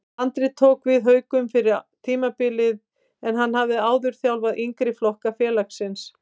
Andri tók við Haukum fyrir tímabilið en hann hafði áður þjálfaði yngri flokka félagsins.